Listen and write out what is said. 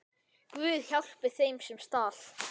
Guð, hjálpi þeim, sem stal!